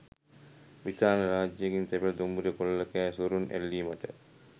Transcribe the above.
බ්‍රිතාන්‍යය රාජකීය තැපැල් දුම්රිය කොල්ලකෑ සොරුන් ඇල්ලීමට